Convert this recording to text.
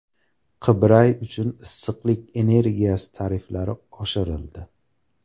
Qibray uchun issiqlik energiyasi tariflari oshirildi.